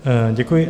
Děkuji.